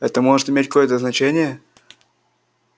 это может иметь кое-то значение